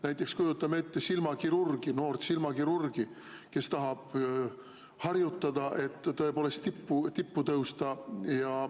Näiteks kujutame ette silmakirurgi, noort silmakirurgi, kes tahab harjutada, et tõepoolest tippu tõusta.